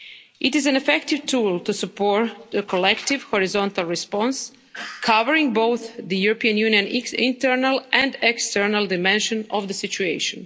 It is an effective tool to support a collective horizontal response covering both the European Union internal and external dimension of the situation.